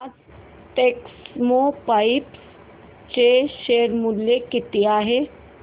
आज टेक्स्मोपाइप्स चे शेअर मूल्य किती आहे